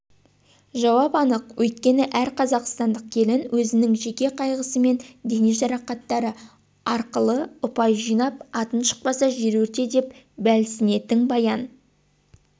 жауап анық өйткені әр қазақстандық келін өзінің жеке қайғысы мен дене жарақаттары арқылыұпай жинап атың шықпаса жер өрте деп бәлсінетін баян